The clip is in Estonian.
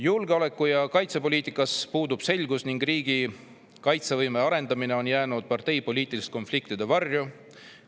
Julgeoleku- ja kaitsepoliitikas puudub selgus ning riigi kaitsevõime arendamine on jäänud parteipoliitiliste konfliktide varju.